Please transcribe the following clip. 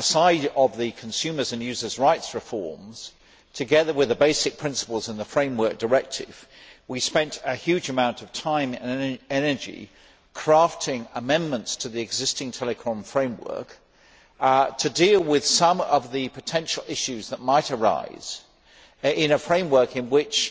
side of the consumers' and users' rights reforms, together with the basic principles in the framework directive we spent a huge amount of time and energy crafting amendments to the existing telecoms framework to deal with some of the potential issues that might arise in a framework in which